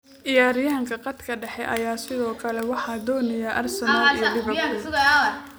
Ciyaaryahanka khadka dhexe ayaa sidoo kale waxaa doonaya Arsenal iyo Liverpool.